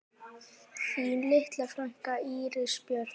Þín litla frænka, Íris Björk.